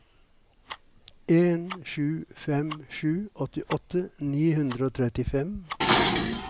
en sju fem sju åttiåtte ni hundre og trettifem